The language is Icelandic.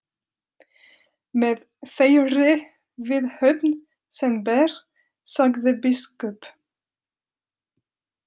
Með þeirri viðhöfn sem ber, sagði biskup.